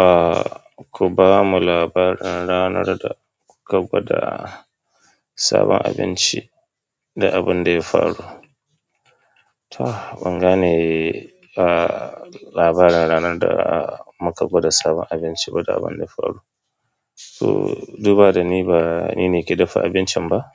Ah, ku ba mu labarin ranar da kuka gwada sabon abinci da abin da ya faru. To, ban gane, ah, labarin ranar da muka gwada sabon abinci ba da abin da ya faru. To, duba da ni ba ni ne ke dafa abincin ba,